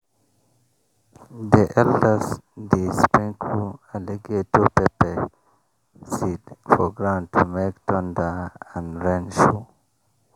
the elders dey sprinkle alligator pepper seed for ground to make thunder and rain show.